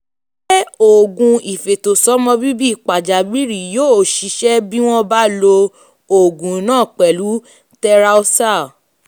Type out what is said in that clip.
um ṣé um oògùn ìfètòsọ́mọbíbí pàjáwìrì yóò ṣiṣẹ́ bí wọ́n bá lo um oògùn náà pẹ̀lú 'tetralysal'?